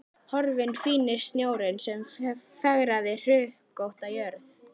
Horfinn fíni snjórinn sem fegraði hrukkótta jörð.